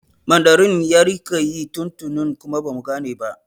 Mandarin ya rika yi tun tuni kuma bamu gane ba